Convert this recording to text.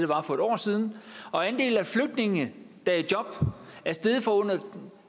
var for et år siden og andelen af flygtninge der er i job er steget fra under